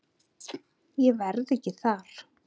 Ég verð ekki þar.